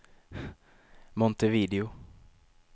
Montevideo